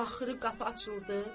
Axırı qapı açıldı.